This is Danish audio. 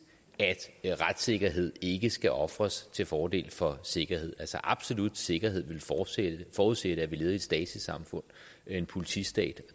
at retssikkerhed ikke skal ofres til fordel for sikkerhed absolut sikkerhed ville forudsætte forudsætte at vi levede i et stasi samfund en politistat